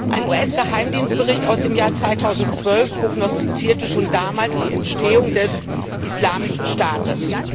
Ein US Geheimdienstbericht aus dem Jahr 2012 prognostizierte schon damals die Entstehung des Islamischen Staates.